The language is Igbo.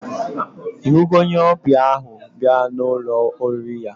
Ihugo onye obia ahu biara na Ụlọ oriri ya?